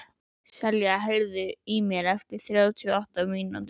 Selja, heyrðu í mér eftir þrjátíu og átta mínútur.